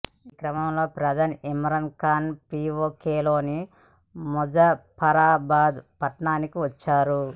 ఈ క్రమంలో ప్రధాని ఇమ్రాన్ ఖాన్ పీవోకేలోని ముజఫరాబాద్ పట్టణానికి వచ్చారు